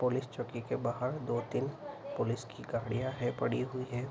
Police चौकी के बाहर दो-तीन पुलिस की गाड़ियाँ हैं पड़ी हुई हैं।